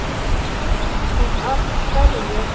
og af hverju?